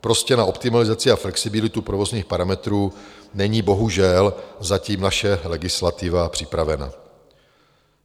Prostě na optimalizaci a flexibilitu provozních parametrů není bohužel zatím naše legislativa připravena.